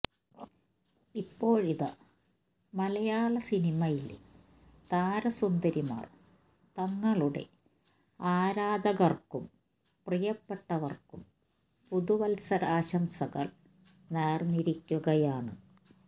ഇപ്പോഴിതാ മലയാള സിനിമയിലെ താര സുന്ദരിമാർ തങ്ങളുടെ ആരാധകർക്കും പ്രിയപ്പെട്ടവർക്കും പുതുവത്സരാശംസകൾ നേർന്നിരിക്കുകയാണ്